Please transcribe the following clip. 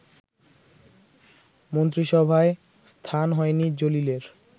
মন্ত্রিসভায় স্থান হয়নি জলিলের